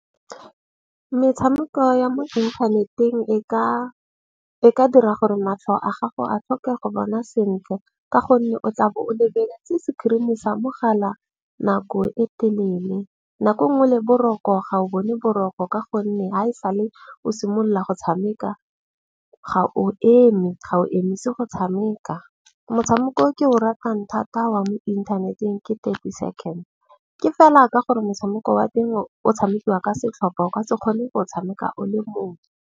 Metshameko ya mo internet-eng e ka dira gore matlho a gago a tlhoke go bona sentle. Ka gonne o tlabo o lebeletse screen-e sa mogala nako e telele. Nako nngwe le boroko ga o bone boroko. Ka gonne ha e sale o simolola go tshameka, ga o eme ga o emise go tshameka. Motshameko o ke o ratang thata wa mo inthaneteng ke 30 Seconds. Ke fela ka gore motshameko wa teng o tshamekiwa ka setlhopa, o ka se kgone go tshameka o le mong.